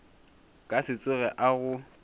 ka se tsoge a go